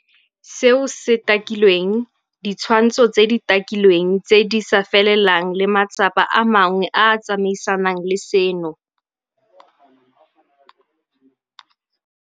Seo se takilweng, ditshwantsho tse di takilweng tse di sa felelang le matsapa a mangwe a a tsamaisanang le seno.